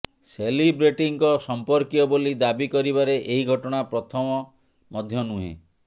ସେଲିବ୍ରେଟିଙ୍କ ସଂପର୍କୀୟ ବୋଲି ଦାବି କରିବାରେ ଏହି ଘଟଣା ପ୍ରଥମ ମଧ୍ୟ ନୁହେଁ